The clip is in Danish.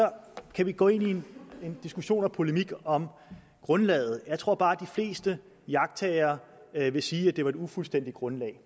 kan vi gå ind i en diskussion og polemik om grundlaget jeg tror bare at de fleste iagttagere vil sige at det var et ufuldstændigt grundlag